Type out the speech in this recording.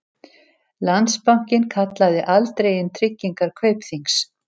Landsbankinn kallaði aldrei inn tryggingar Kaupþings